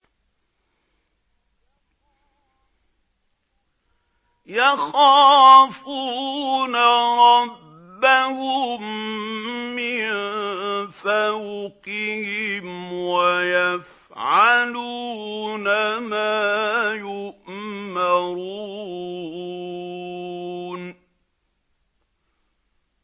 يَخَافُونَ رَبَّهُم مِّن فَوْقِهِمْ وَيَفْعَلُونَ مَا يُؤْمَرُونَ ۩